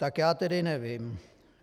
Tak já tedy nevím.